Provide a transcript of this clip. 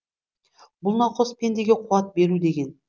бұл науқас пендеге қуат беру деген